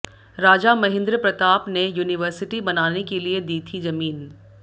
राजा महेंद्र प्रताप ने यूनिवर्सिटी बनाने के लिए दी थी जमीन